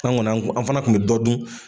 Sisan kɔni an fana kun bɛ dɔ dun.